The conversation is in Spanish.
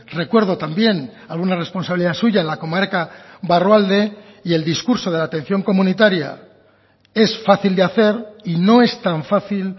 recuerdo también alguna responsabilidad suya en la comarca barrualde y el discurso de la atención comunitaria es fácil de hacer y no es tan fácil